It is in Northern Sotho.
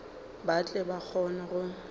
ba tle ba kgone go